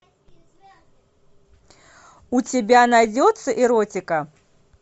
у тебя найдется эротика